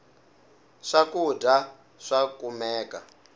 swakudya swa kumeka